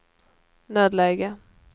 nödläge